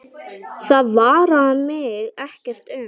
Það varðar mig ekkert um.